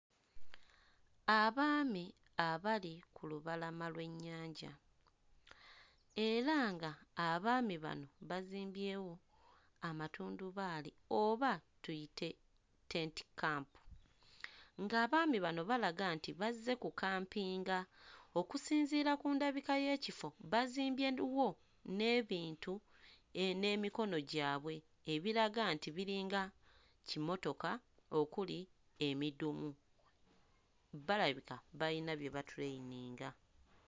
Abaami abali ku lubalama lw'ennyanja era ng'abaami bano bazimbyewo amatundubaali oba tuyite tent camp, ng'abaami bano balaga nti bazze kukampinga. Okusinziira ku ndabika y'ekifo, bazimbyewo n'ebintu n'emikono gyabwe ebiraga nti biringa kimotoka okuli emidumu; balabika bayina bye batuleyininga.